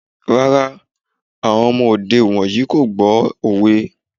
Rárá, àwọn ọmọ òde ìwòyí kò gbọ́ òwe.